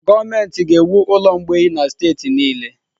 Gọọmenti ga-ewu ụlọ mgbei na steeti niile